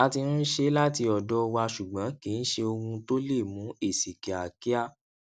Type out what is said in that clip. a ti ń ṣe láti ọdọ wa ṣùgbọn kìí ṣe ohun tó lè mú èsì kíákíá